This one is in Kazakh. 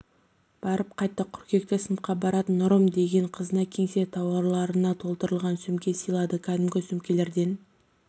барып қайтты қыркүйекте сыныпқа баратын нұрым деген қызына кеңсе тауарларына толтырылған сөмке сыйлады кәдімгі сөмкелерден